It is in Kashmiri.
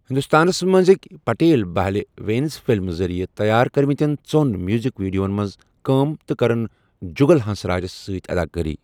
ہندوستانَس منٛزٕکۍ پٹیل بہلہِ وینس فِلمز ذٔریعہِ تیار کٔرمٕتین ژوٚن میوٗزک ویڈیوَن منٛز كام تہٕ کٔرٕن جُگل ہنسراجَس سۭتۍ اداکٲری ۔